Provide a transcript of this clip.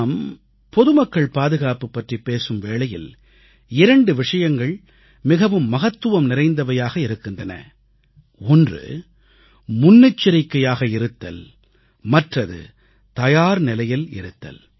நாம் பொதுமக்கள் பாதுகாப்பு பற்றிப் பேசும் வேளையில் 2 விஷயங்கள் மிகவும் மகத்துவம் நிறைந்ததாக இருக்கின்றன ஒன்று முன்னெச்சரிக்கையாக இருத்தல் மற்றது தயார்நிலையில் இருத்தல்